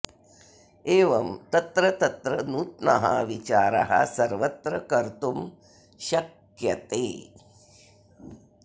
एवं तत्र तत्र नूत्नः विचारः सर्वत्र कर्तुं शक्यते